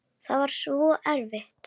Það var svo erfitt.